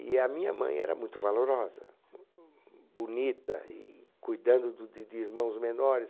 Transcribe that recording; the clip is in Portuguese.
E a minha mãe era muito valorosa, bonita, e cuidando do de de irmãos menores.